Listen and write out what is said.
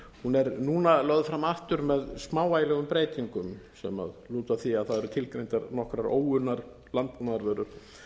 hún er núna lögð fram aftur með smávægilegum breytingum sem lúta að því að það eru tilgreindar nokkrar óunnar landbúnaðarvörur